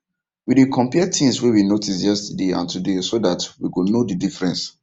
we dey compare things wey we notice yesterday and today so that we go know the difference